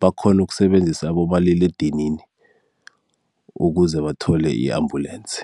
bakghona ukusebenzisa abomaliledinini ukuze bathole i-ambulensi.